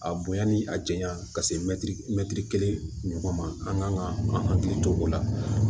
A bonya ni a janya ka se mɛtiri kelen ɲɔgɔn ma an kan ka an hakili to o la